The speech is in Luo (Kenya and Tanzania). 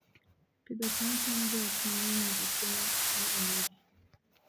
Pidho cham konyo joot mang'eny yudo chiemo moromogi